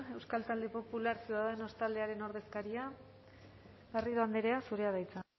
euskal talde popular ciudadanos taldearen ordezkaria garrido andrea zurea da hitza